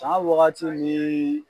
Tan wagatiw ni